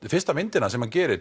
fyrsta myndin sem hann gerir